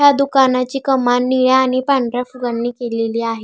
ह्या दुकानाची कमान निळ्या आणि पांढऱ्या फुलांनी केलेली आहे.